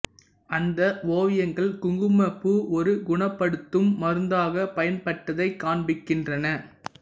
அந்த ஓவியங்கள் குங்குமப்பூ ஒரு குணப்படுத்தும் மருந்தாக பயன்பட்டதைக் காண்பிக்கின்றன